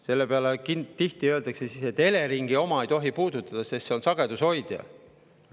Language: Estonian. Selle peale tihti öeldakse, et Eleringi oma ei tohi puudutada, sest see on sagedushoidja.